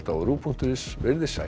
á rúv punktur is veriði sæl